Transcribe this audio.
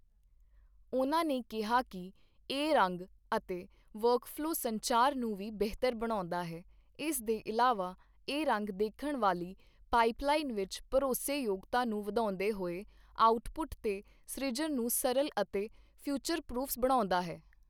ਉਨ੍ਹਾਂ ਨੇ ਕਿਹਾ ਕਿ ਇਹ ਰੰਗ ਅਤੇ ਵਰਕਫਲੋ ਸੰਚਾਰ ਨੂੰ ਵੀ ਬਿਹਤਰ ਬਣਾਉਂਦਾ ਹੈ ਇਸ ਦੇ ਇਲਾਵਾ, ਇਹ ਰੰਗ ਦੇਖਣ ਵਾਲੀ ਪਾਈਪਲਾਈਨ ਵਿੱਚ ਭਰੋਸੇਯੋਗਤਾ ਨੂੰ ਵਧਾਉਂਦੇ ਹੋਏ ਆਉਟਪੁੱਟ ਦੇ ਸ੍ਰਿਜਣ ਨੂੰ ਸਰਲ ਅਤੇ ਫਿਊਚਰ ਪਰੂਫਸ ਬਣਾਉਂਦਾ ਹੈ।